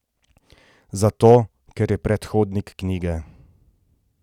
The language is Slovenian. Zato ker je predhodnik knjige.